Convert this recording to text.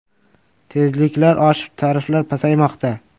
Tezliklar oshib tariflar pasaymoqda.